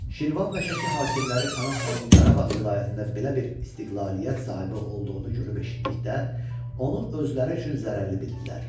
Şirvan və Şəki hakimləri Pənah xanın Qarabağ vilayətində belə bir istiqlaliyyət sahibi olduğunu görüb eşitdikdə onu özləri üçün zərərli bildilər.